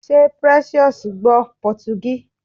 Ṣé Precious gbọ́ Pọtugí?